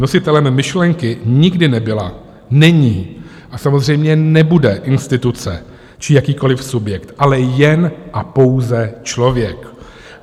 Nositelem myšlenky nikdy nebyla, není a samozřejmě nebude instituce či jakýkoliv subjekt, ale jen a pouze člověk.